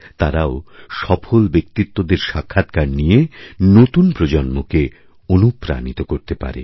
তারাও সফল ব্যক্তিত্বদের সাক্ষাৎকার নিয়ে নতুনপ্রজন্মকে অনুপ্রাণিত করতে পারে